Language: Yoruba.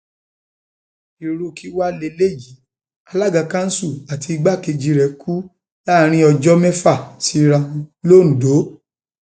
irú kí wàá lélẹyìí alága kanṣu àti igbákejì rẹ kú láàrin ọjọ mẹfà síra wọn londo